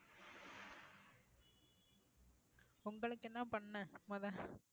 உங்களுக்கு என்ன பண்ண முத